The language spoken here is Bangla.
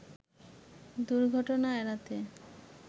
দুর্ঘটনা এড়াতে